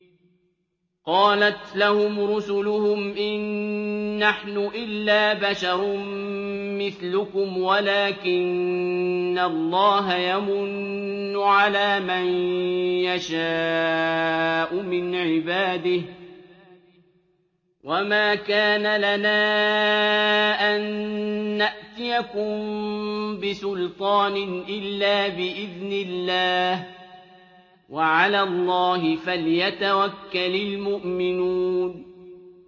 قَالَتْ لَهُمْ رُسُلُهُمْ إِن نَّحْنُ إِلَّا بَشَرٌ مِّثْلُكُمْ وَلَٰكِنَّ اللَّهَ يَمُنُّ عَلَىٰ مَن يَشَاءُ مِنْ عِبَادِهِ ۖ وَمَا كَانَ لَنَا أَن نَّأْتِيَكُم بِسُلْطَانٍ إِلَّا بِإِذْنِ اللَّهِ ۚ وَعَلَى اللَّهِ فَلْيَتَوَكَّلِ الْمُؤْمِنُونَ